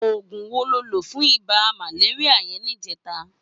Ógún wó ló lo fún ibà màlériá yèn nijètá?